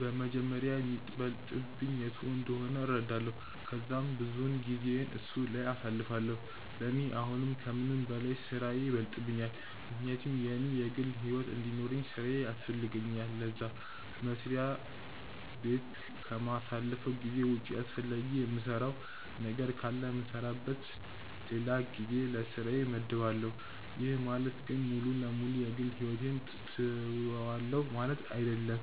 በመጀመሪያ የሚበልጥብኝ የቱ እንደሆነ እረዳለው ከዛም ብዙውን ጊዜየን እሱ ላይ አሳልፋለው፤ ለኔ አሁን ከምንም በላይ ስራዬ ይበልጥብኛል ምክንያቱም እኔ የግል ሕይወት እንዲኖርውኝ ስራዬ ያስፈልገኛል ለዛ፤ መስሪያ በት ከማሳልፈው ጊዜ ውጪ አስፈላጊ የምሰራው ነገር ካለ የምሰራበት ለላ ጊዜ ለስራዬ መድባለው፤ ይህ ማለት ግን ሙሉ ለ ሙሉ የ ግል ሕይወቴን ትውዋለው ማለት አይድለም